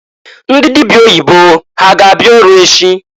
Ndị dịbịa oyibo ha ga abịa ọrụ echi?